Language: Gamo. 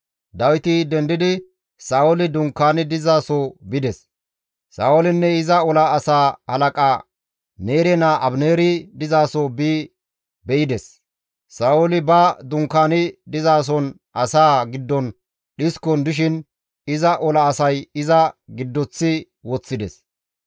Dawiti dendidi Sa7ooli dunkaani dizaso bides; Sa7oolinne iza ola asaa halaqa, Neere naa Abineeri dizaso bi be7ides. Sa7ooli ba dunkaani dizason asaa giddon dhiskon dishin iza ola asay iza giddoththi woththides.